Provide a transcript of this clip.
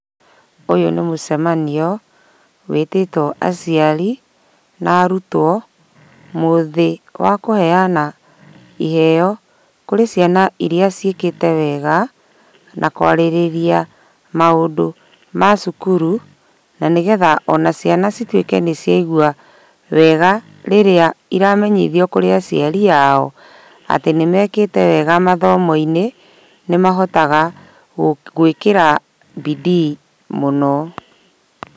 Ũyũ nĩ mũcemanio wĩtĩtwo aciari na arutwo mũthĩ wa kũheyana iheo kũrĩ ciana irĩa ciĩkĩte wega na kwarĩrĩria maũndũ ma cukuru na nĩgetha ciana cituĩke nĩ ciaigua wega rĩrĩa iramenyithio kũrĩa aciari a o atĩ nĩmekĩte wega mathomo-inĩ nĩ mahotaga gũĩkĩra bidii mũno.